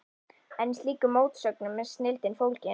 En í slíkum mótsögnum er snilldin fólgin.